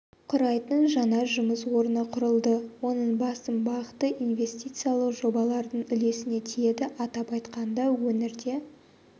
құрайтын жаңа жұмыс орны құрылды оның басым бағыты инвестициялық жобалардың үлесіне тиеді атап айтқанда өңірде